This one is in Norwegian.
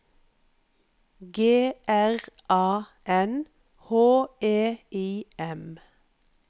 G R A N H E I M